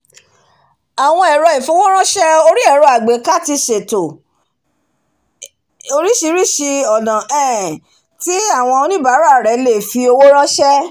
áwon ẹ̀rọ ìfowóránsẹ̀ orí ẹ̀rọ̀ àgbééká ti sèto orísisíri ọ̀nà um tí áwon oníbàárà rẹ̀ le fi owó ránsẹ́